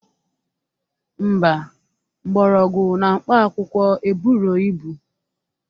Ḿbà, mgbọrọgwụ na mkpaakwụkwọ eburo ibu.